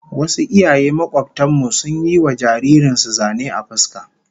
Wasu iyaye makobtan mu sun yi wa jaririn su zane a fuska